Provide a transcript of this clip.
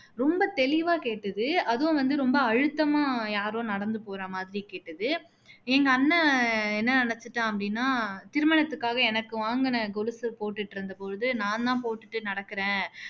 ரொம்ப தெளிவா கேட்டுது அதுவும் வந்து ரொம்ப அழுத்தமா யாரோ நடந்து போற மாதிரி கேட்டுது எங்க அண்ணன் என்ன நினச்சுட்டான் அப்படின்னா திருமணத்துக்கு எனக்கு வாங்குன கொலுசு போட்டுட்டு இருந்த பொழுது நான் தான் போட்டுட்டு நடக்குறேன்